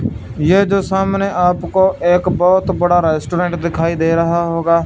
यह जो सामने आपको एक बहोत बड़ा रेस्टोरेंट दिखाई दे रहा होगा--